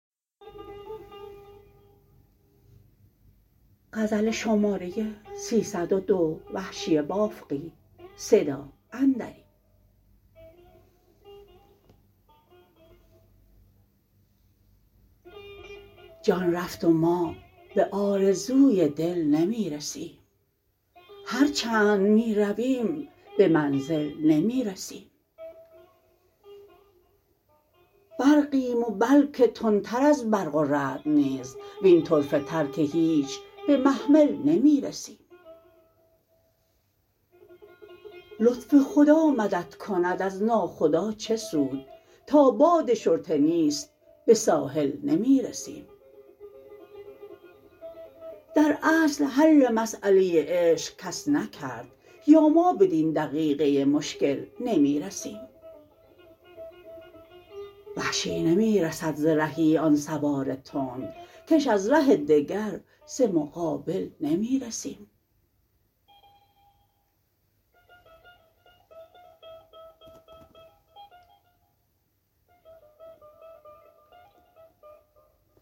جان رفت و ما به آرزوی دل نمی رسیم هرچند می رویم به منزل نمی رسیم برقیم و بلکه تندتر از برق و رعد نیز وین طرفه تر که هیچ به محمل نمی رسیم لطف خدا مدد کند از ناخدا چه سود تا باد شرطه نیست به ساحل نمی رسیم در اصل حل مسأله عشق کس نکرد یا ما بدین دقیقه مشکل نمی رسیم وحشی نمی رسد ز رهی آن سوار تند کش از ره دگر ز مقابل نمی رسیم